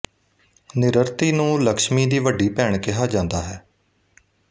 ਨਿਰ੍ਰਤੀ ਨੂੰ ਲਕਸ਼ਮੀ ਦੀ ਵੱਡੀ ਭੈਣ ਕਿਹਾ ਜਾਂਦਾ ਹੈ